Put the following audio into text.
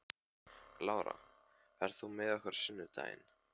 Lára, ferð þú með okkur á sunnudaginn?